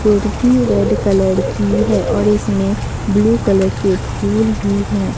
Kurti red colour की है और इसमें ब्लू कलर के फूल भी हैं।